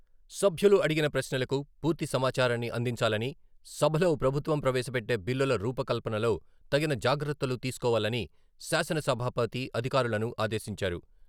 సభ్యులు అడిగిన ప్రశ్నలకు పూర్తి సమాచారాన్ని అందించాలని, సభలో ప్రభుత్వం ప్రవేశపెట్టే బిల్లుల రూపకల్పనలో తగిన జాగ్రత్తలు తీసుకోవాలని శాసన సభాపతి అధికారులను ఆదేశించారు.